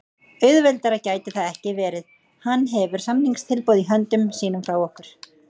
Auðveldara gæti það ekki verið. Hann hefur samningstilboð í höndum sínum frá okkur.